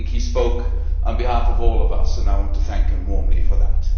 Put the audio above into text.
I think he spoke on behalf of all of us and I want to thank him warmly for that.